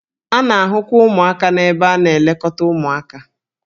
A na-ahụkwa ụmụaka n'ebe a na-elekọta ụmụaka.